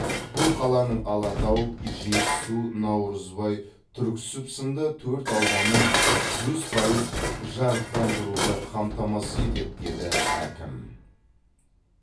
бұл қаланың алатау жетісу наурызбай түрксіб сынды төрт ауданын жүз пайыз жарықтандыруды қамтамасыз етеді деді әкім